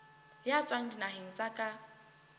ya tswang dinaheng tsa ka